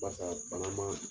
Barisa bana ma